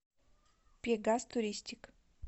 пегас туристик